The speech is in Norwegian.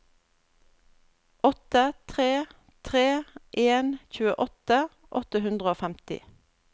åtte tre tre en tjueåtte åtte hundre og femti